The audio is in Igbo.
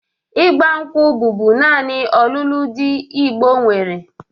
Ịgba nkwụ bụbu naanị ọlụlụ ndị Igbo nwere